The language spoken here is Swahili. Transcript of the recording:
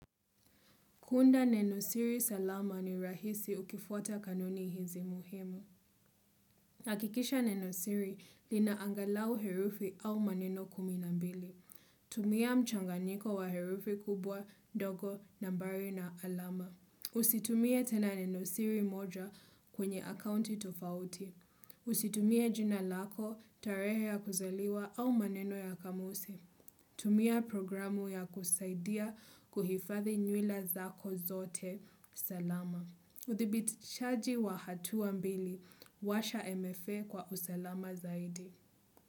Kunda nenosiri salama ni rahisi ukifuata kanuni hizi muhimu. Hakikisha nenosiri lina angalau herufi au maneno kumi na mbili. Tumia mchanganyiko wa herufi kubwa, ndogo, nambari na alama. Usitumie tena nenosiri moja kwenye akaunti tofauti. Usitumie jina lako, tarehe ya kuziliwa au maneno ya kamusi. Tumia programu ya kusaidia kuhifadhi nywila zako zote. Salama. Udhibitishaji wa hatua mbili. Washa MFA kwa usalama zaidi.